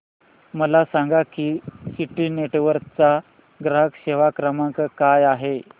मला सांगा की सिटी नेटवर्क्स चा ग्राहक सेवा क्रमांक काय आहे